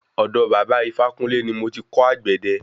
Ọ̀dọ̀ baba Ifákúnle ní mo ti kò àgbẹ̀dẹ.